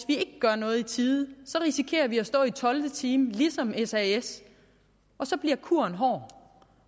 vi gør noget i tide risikerer vi at stå i tolvte time ligesom sas og så bliver kuren hård